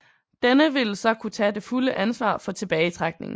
Denne ville så kunne tage det fulde ansvar for tilbagetrækningen